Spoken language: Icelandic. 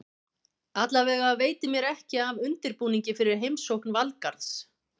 Allavega veitir mér ekki af undirbúningi fyrir heimsókn Valgarðs.